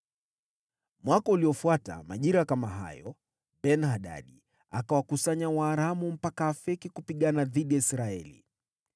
Mwaka uliofuata, majira kama hayo, Ben-Hadadi akawakusanya Waaramu mpaka Afeki kupigana dhidi ya Israeli.